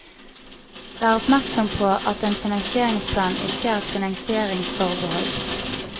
Vær oppmersom på at en finansieringsplan ikke er et finansieringsforbehold.